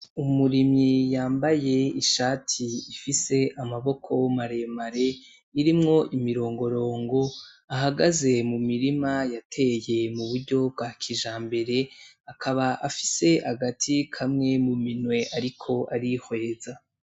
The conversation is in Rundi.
Umurimyi yambaye ishati ifise amaboko maremare irimwo imirongorongo ahagaze mu mirima yateye mu buryo bwa kijambere akaba afise agati kamwe mu minwe ariko arihweza.